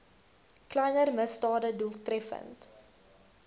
kleiner misdade doeltreffend